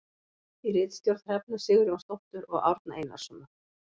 Í ritstjórn Hrefnu Sigurjónsdóttur og Árna Einarssonar.